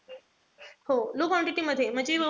हो low quantity मध्ये. म्हणजे,